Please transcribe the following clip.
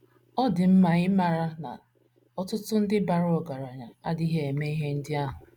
Ọ dị mma ịmara na ọtụtụ ndị bara ọgaranya adịghị eme ihe ndị ahụ.